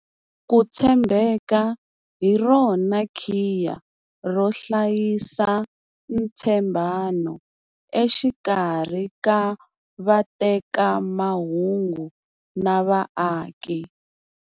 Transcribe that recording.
Ku tshembeka hi rona khiya ro hlayisa ntshembano exikarhi ka vatekamahungu na vaaki.